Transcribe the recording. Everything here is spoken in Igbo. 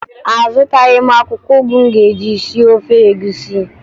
Azụtaghị m akwụkwọ ụgụ m ga-eji sie ofe egwusi